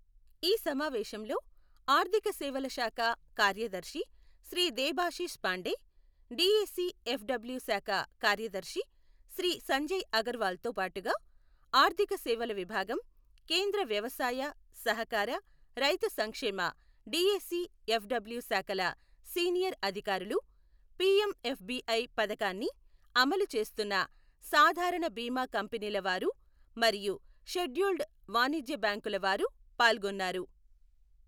ఈ సమావేశంలో ఆర్థిక సేవల శాఖ కార్యదర్శి శ్రీ దేభాషిష్ పాండే, డీఏసీ ఎఫ్డబ్ల్యూ శాఖ కార్యదర్శి శ్రీ సంజయ్ అగర్వాల్తో పాటుగా ఆర్థిక సేవల విభాగం, కేంద్ర వ్యవసాయ, సహకార, రైతు సంక్షేమ డీఏసీ ఎఫ్డబ్ల్యూ శాఖల సీనియర్ అధికారులు, పీఎంఎఫ్బీఐ పథకాన్ని అమలు చేస్తున్న సాధారణ బీమా కంపెనీల వారు మరియు షెడ్యూల్డ్ వాణిజ్య బ్యాంకుల వారు పాల్గొన్నారు.